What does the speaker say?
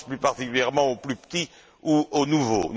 Je pense plus particulièrement aux plus petits ou aux nouveaux.